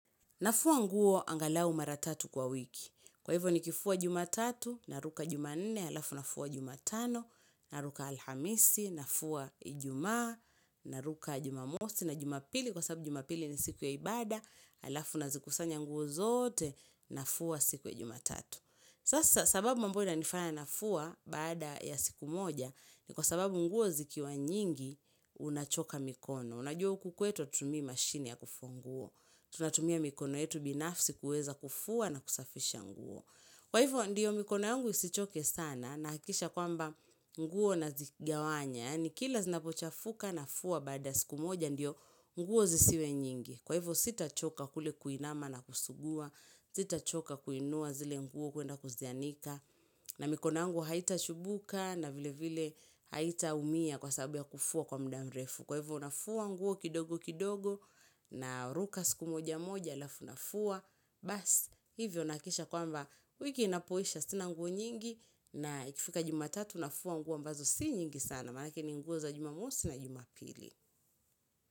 Nafua nguo angalau maratatu kwa wiki. Kwa hivyo ni kifua jumatatu, naruka jumanne, alafu nafua jumatano, naruka alhamisi, nafua ijumaa, naruka jumamosi, na jumapili, kwa sababu jumapili ni siku ya ibada, alafu na zikusanya nguo zote, nafua siku ya jumatatu. Sasa sababu mbona inafana nafua baada ya siku moja ni kwa sababu nguo zikiwa nyingi unachoka mikono. Unajua huku kwetu atutumi mashini ya kufu nguo. Tunatumia mikono yetu binafsi kuweza kufua na kusafisha nguo. Kwa hivyo ndiyo mikono yangu isichoke sana na hakisha kwamba nguo na zigawanya. Yani kila zinapochafuka nafua baada ya siku moja ndiyo nguo zisiwe nyingi. Kwa hivyo sita choka kule kuinama na kusugua, sita choka kuinua zile nguo kuenda kuzianika na mikono yangu haita chubuka na vile vile haita umia kwa sababu ya kufua kwa mdamrefu Kwa hivo nafua nguo kidogo kidogo na ruka siku moja moja alafu nafua Bas hivyo nakisha kwamba wiki inapoisha sina nguo nyingi na ikifika juma tatu nafua nguo ambazo si nyingi sana Manake ni nguo za jumamosi na juma pili.